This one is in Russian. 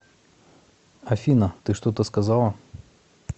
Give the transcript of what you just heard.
афина ты что то сказала